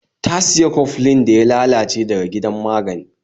Ta siya cofflin daya lalace daga gidan magani